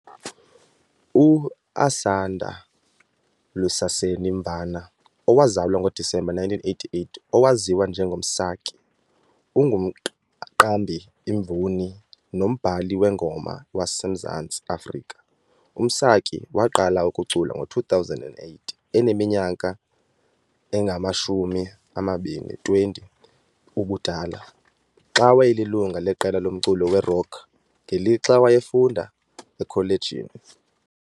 U-Asanda Lusaseni Mvana, owazalwa ngoDisemba 1988, owaziwa njengo Msaki, ungumqambi, imvumi nombhali weengoma waseMzantsi Afrika. UMsaki waa-qala ukucula ngo-2008, eneminyaka engama-20 ubudala, xa wayelilungu leqela lomculo werock ngelixa wayefunda ekholejini.